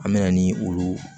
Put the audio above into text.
An mɛna ni olu